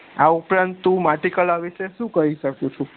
આ ઉપરાંત તું માટી કળા વિષે શું કઈ શકું છું